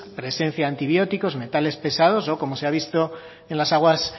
presencia de antibióticos metales pesados o como se ha visto en las aguas